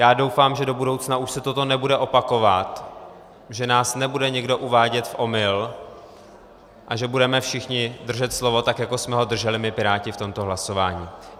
Já doufám, že do budoucna už se toto nebude opakovat, že nás nebude někdo uvádět v omyl a že budeme všichni držet slovo, tak jako jsme ho drželi my Piráti v tomto hlasování.